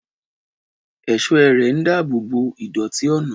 Ẹ̀ṣọ́ ẹ̀rẹ̀ ń dáàbò bo ìdọ̀tí ọ̀nà.